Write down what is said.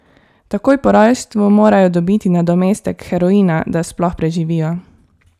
Takoj po rojstvu morajo dobiti nadomestek heroina, da sploh preživijo.